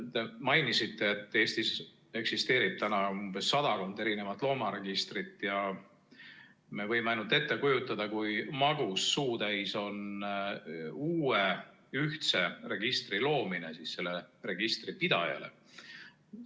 Te mainisite, et Eestis on praegu sadakond erinevat loomaregistrit ja me võime ainult ette kujutada, kui magus suutäis on uue ühtse registri loomine sellele registripidajale.